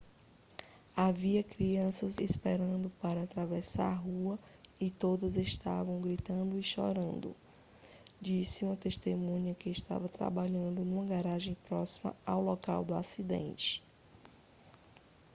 havia crianças esperando para atravessar a rua e todas estavam gritando e chorando disse uma testemunha que estava trabalhando numa garagem próxima ao local do acidente